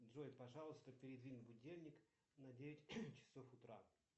джой пожалуйста передвинь будильник на девять часов утра